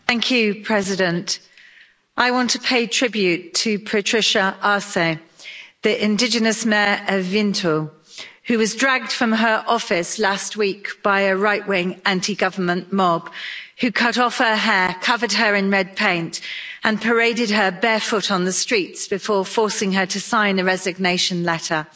Madam President, I want to pay tribute to Patricia Arce, the indigenous mayor of Vinto, who was dragged from her office last week by a right wing anti government mob, who cut off her hair, covered her in red paint and paraded her barefoot on the streets, before forcing her to sign a resignation letter.